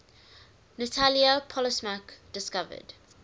natalia polosmak discovered